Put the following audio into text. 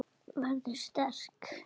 Verður sterk.